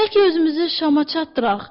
Bəlkə özümüzü şama çatdıraq?